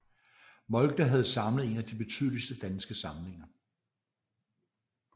Moltke havde samlet en af de betydeligste danske samlinger